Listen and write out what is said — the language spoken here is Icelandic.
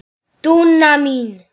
Dúna mín.